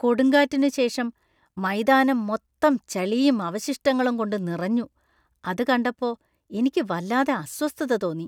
കൊടുങ്കാറ്റിനുശേഷം മൈതാനം മൊത്തം ചളിയും അവശിഷ്ടങ്ങളും കൊണ്ട് നിറഞ്ഞു അത് കണ്ടപ്പോ എനിക്ക് വല്ലാതെ അസ്വസ്ഥത തോന്നി .